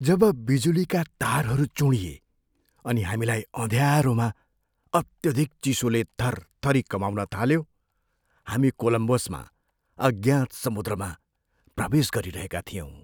जब बिजुलीका तारहरू चुँडिए अनि हामीलाई अँध्यारोमा अत्यधिक चिसोले थरथरी कमाउन थाल्यो हामी कोलम्बसमा अज्ञात समुद्रमा प्रवेश गरिरहेका थियौँ।